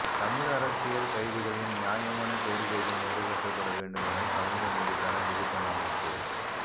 தமிழ் அரசியல் கைதிகளின் நியாயமான கோரிக்கைகள் நிறைவேற்றப்பட வேண்டும் என சமூக நீதிக்கான வெகுஜன அமைப்பு